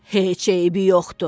Heç eybi yoxdur.